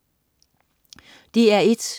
DR1: